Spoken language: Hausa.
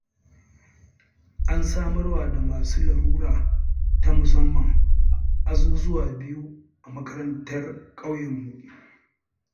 An samarwa da masu larura ta musamman azuzuwa biyu a makarantar ƙauyenmu.